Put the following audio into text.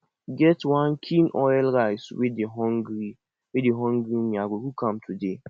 e get wan kin oil rice wey dey hungry wey dey hungry me i go cook am today